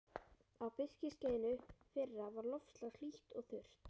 Á birkiskeiðinu fyrra var loftslag hlýtt og þurrt.